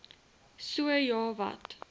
so ja wat